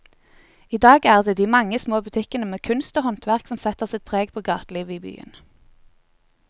I dag er det de mange små butikkene med kunst og håndverk som setter sitt preg på gatelivet i byen.